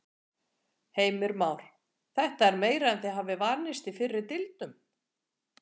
Heimir Már: Þetta er meira en þið hafið vanist í fyrri deilum?